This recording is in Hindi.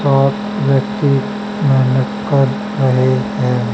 और व्यक्ती मेहनत कर रहे हैं।